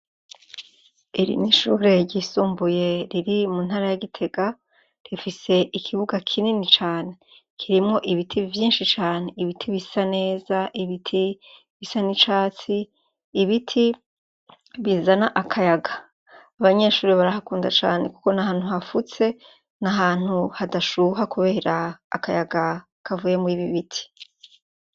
iri n'ishure ryisumbuye riri mu ntara ya gitega rifise ikibuga kinini cane kirimwo ibiti byinshi cane ibiti bisa neza ibiti bisa n'icatsi ibiti bizana akayaga abanyeshuri barahakunda cane kuko na hantu hafutse nahantu hadashuha kubera akayaga kavuye muri ibi biti